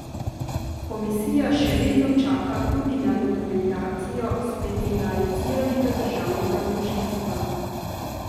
Komisija še vedno čaka tudi na dokumentacijo specializiranega državnega tožilstva.